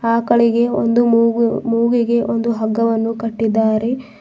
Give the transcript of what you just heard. ಆಕಳಿಗೆ ಒಂದು ಮೂಗು ಮೂಗಿಗೆ ಒಂದು ಹಗ್ಗವನ್ನು ಕಟ್ಟಿದ್ದಾರೆ.